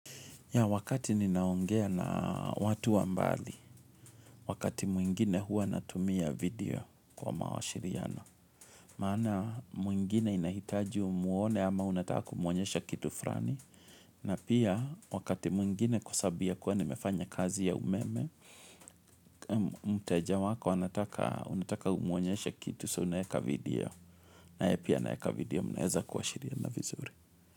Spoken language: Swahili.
Ya wakati ninaongea na watu wa mbali, wakati mwingine huwa natumia video kwa mawashiriano. Maana mwingine inahitaji umwone ama unataka kumwonyesha kitu frani. Na pia wakati mwingine kwa sababu ya kuwa nimefanya kazi ya umeme, mteja wako unataka umwonyeshe kitu so unaweka video. Pia naweka video mnaweza kuwashiriana vizuri.